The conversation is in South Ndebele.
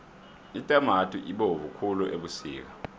itamati ibovu khulu ebusika